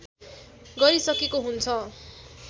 गरिसकेको हुन्छ